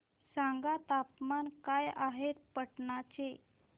सांगा तापमान काय आहे पाटणा चे